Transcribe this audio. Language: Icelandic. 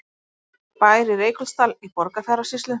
Bær í Reykholtsdal í Borgarfjarðarsýslu.